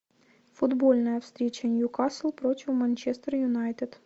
футбольная встреча ньюкасл против манчестер юнайтед